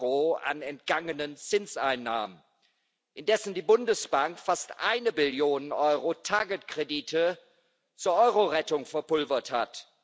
EUR an entgangenen Zinseinnahmen, indessen die Bundesbank fast eine Billion EUR Target Kredite zur Eurorettung verpulvert hat.